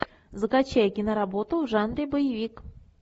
закачай киноработу в жанре боевик